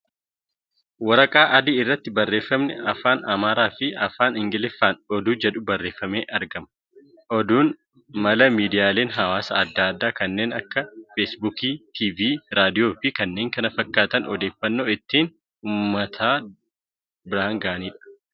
Waraqaa adii irratti barreeffamni Afaan Amaaraa fi Afaan Ingiliffaan ' Oduu ' jedhu barreeffamee argama. Oduun mala miidiyaaleen hawaasaa adda addaa kannen akka feesbuukii, TV, raadiyoo fi kan kana fakkaatan odeeffannoo ittiin uummata biraan ga'ani.